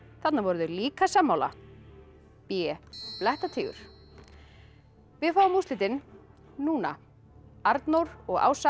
þarna voru þau líka sammála b blettatígur við fáum úrslitin núna Arnór og Ása